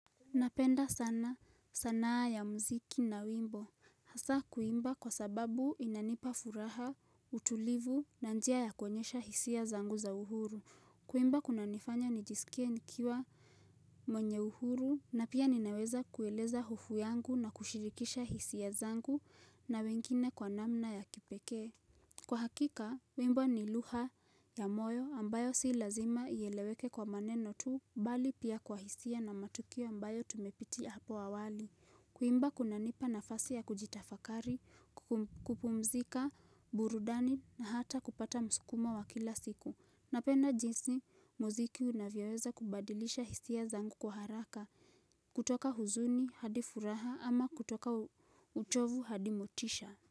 Napenda sana sanaa ya mziki na wimbo. Hasa kuimba kwa sababu inanipa furaha, utulivu na njia ya kuonyesha hisia zangu za uhuru. Kuimba kunanifanya nijisikie nikiwa mwenye uhuru na pia ninaweza kueleza hofu yangu na kushirikisha hisia zangu na wengine kwa namna ya kipeke. Kwa hakika, wimbo ni lugha ya moyo ambayo si lazima iyeleweke kwa maneno tu mbali pia kwa hisia na matukio ambayo tumepitia hapo awali. Kuimba kunanipa nafasi ya kujitafakari, kupumzika, burudani na hata kupata msukumo wa kila siku. Napenda jinsi, muziki unavyoza kubadilisha hisia zangu kwa haraka, kutoka huzuni hadi furaha ama kutoka uchovu hadi motisha.